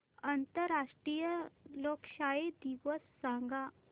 आंतरराष्ट्रीय लोकशाही दिवस सांगा